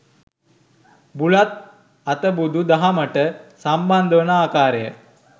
බුලත් අතබුදු දහමට සම්බන්ධවන ආකාරය